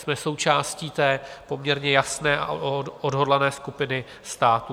Jsme součástí té poměrně jasné a odhodlané skupiny států.